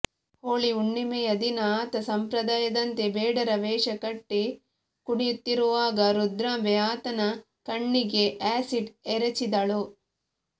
ಹೋಳಿ ಹುಣ್ಣಿಮೆಯ ದಿನ ಆತ ಸಂಪ್ರದಾಯದಂತೆ ಬೇಡರ ವೇಷ ಕಟ್ಟಿ ಕುಣಿಯುತ್ತಿರುವಾಗ ರುದ್ರಾಂಬೆ ಆತನ ಕಣ್ಣಿಗೆ ಆ್ಯಸಿಡ್ ಎರಚಿದಳು